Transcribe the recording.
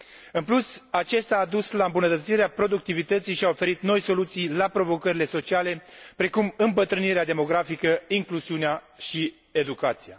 În plus, aceasta a dus la îmbunătățirea productivității și a oferit noi soluții la provocările sociale precum îmbătrânirea demografică, incluziunea și educația.